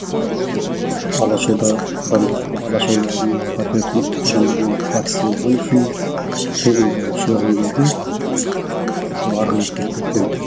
алаш орда адамдар алаш орданың отрядтың адамдармен қатысы болғаны үшін қуғындаушы сол арғы бетке өтіп кеткен